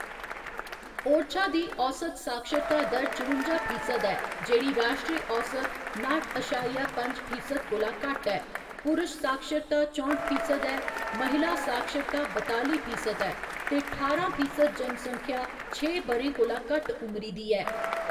ओरछा दी औस्त साक्षरता दर चरुंजा फीसद ऐ, जेह्‌‌ड़ी राश्ट्री औस्त नाठ अशारिया पंज फीसद कोला घट्ट ऐ, पुरश साक्षरता चौंठ फीसद ऐ, महिला साक्षरता बताली फीसद ऐ ते ठारां फीसद जनसंख्या छे ब'रें कोला घट्ट उमरी दी ऐ।